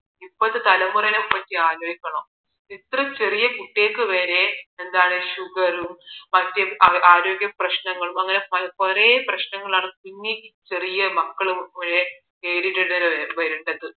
ഇപ്പോഴത്തെ തലമുറയെ കുറിച്ച് ആലോചിക്കണം ഇത്രയും ചെറിയ കുട്ടികൾക്ക് വരെ sugar റും മറ്റു ആരോഗ്യ പ്രശ്നങ്ങളും അങ്ങനെ പല കുറെ പ്രശ്നങ്ങളാണ് ഇനി ചെറിയ മക്കൾ വരെ നേരിടേണ്ടി വരുന്നത്